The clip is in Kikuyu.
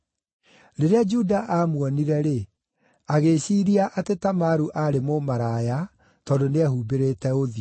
Rĩrĩa Juda aamuonire-rĩ, agĩĩciiria atĩ Tamaru aarĩ mũmaraya tondũ nĩehumbĩrĩte ũthiũ.